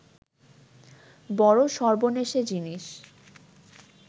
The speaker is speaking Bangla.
বড় সর্বনেশে জিনিস